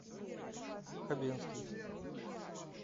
хабенский